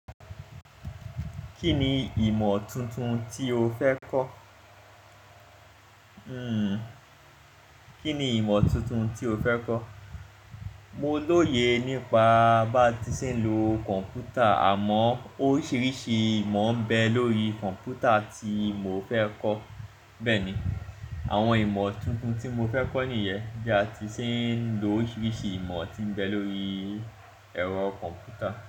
Kí ni ìmọ̀ tuntun tí o fẹ́ kọ́? Hmm, kí ni ìmọ̀ tuntun tí o fẹ́ kọ́? Mo lóye nípa bá ti ṣe ń lo kọ̀npútà, àmọ́ oríṣiríṣi ìmọ̀ ń bẹ lórí kọ̀npútà tí mo fẹ́ kọ́. Bẹ́ẹ̀ ni, àwọn ìmọ̀ tuntun tí mo fẹ́ kọ́ nìyẹn bí a ti ṣì ń lo oríṣiríṣi ìmọ̀ tí ń bẹ lórí ẹ̀rọ kọ̀mpútà.